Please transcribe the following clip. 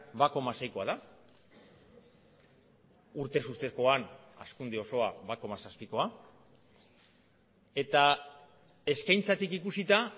bat koma seikoa da urtez urtekoan hazkunde osoa bat koma zazpikoa eta eskaintzatik ikusita